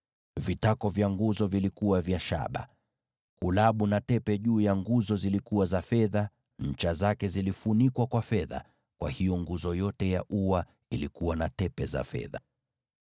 Vitako vya nguzo vilikuwa vya shaba. Kulabu na tepe juu ya nguzo zilikuwa za fedha, na ncha zake zilifunikwa kwa fedha. Kwa hiyo nguzo zote za ua zilikuwa na tepe za fedha.